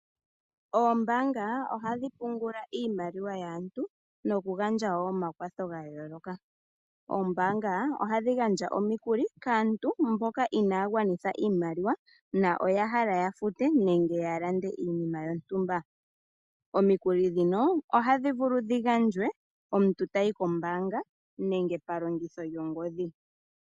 Oombaanga ohadhi pungula iimaliwa yaantu noku gandja wo omakwatho ga yooloka. Oombaanga ohadhi gandja omikuli kaantu mboka inaya gwanitha iimaliwa na oya hala ya fute nenge ya lande iinima yontumba. Omikuli dhino ohadhi vulu dhi gandjwe omuntu tayi kombaanga nenge pa longitho lyongodhi.